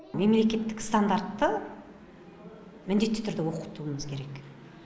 мемлекеттік стандартты міндетті түрде оқытуымыз керек